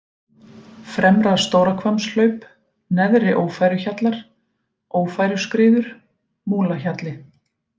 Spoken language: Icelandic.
Fremra-Stórahvammshlaup, Neðri-Ófæruhjallar, Ófæruskriður, Múlahjalli